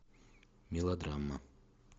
мелодрама